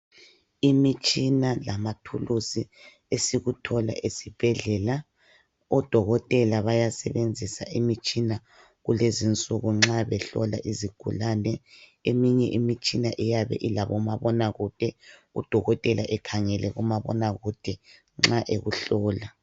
Imitshina lamathuluzi esikuthola esibhedlela odokotela bayasebenzisa imitshina lezinsuku nxa behlola izigulane eminye imitshina iyabe ilabo mabonakude udokotela ekhangele umabonakude nxa ekuhlola.